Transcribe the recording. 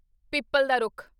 ਪਿੱਪਲ ਦਾ ਰੁੱਖ